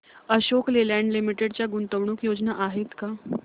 Ashok Leyland limited च्या गुंतवणूक योजना आहेत का